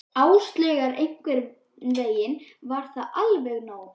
Áslaugar og einhvern veginn var það alveg nóg.